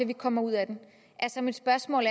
vi kommer ud af den mit spørgsmål